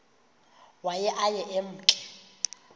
waye aye emke